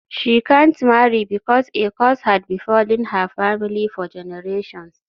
She can't marry because a curse had befallen her family for generations.